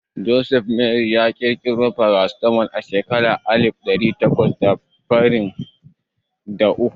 Joseph von Mering ya ƙirƙiro farasitamol a shekaran alif ɗari takwas da fasalin da uku